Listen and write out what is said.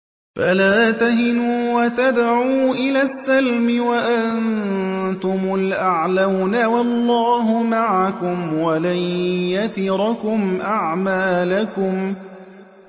فَلَا تَهِنُوا وَتَدْعُوا إِلَى السَّلْمِ وَأَنتُمُ الْأَعْلَوْنَ وَاللَّهُ مَعَكُمْ وَلَن يَتِرَكُمْ أَعْمَالَكُمْ